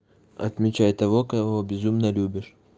отмечай того кого безумно любишь